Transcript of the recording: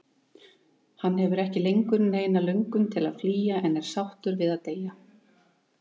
Hann hefur ekki lengur neina löngun til að flýja, en er sáttur við að deyja.